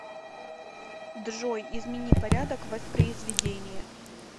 джой измени порядок воспризведения